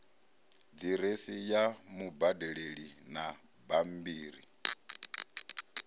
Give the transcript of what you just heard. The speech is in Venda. diresi ya mubadeli na bambiri